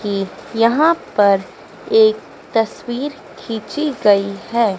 ये यहां पर एक तस्वीर खींची गई है।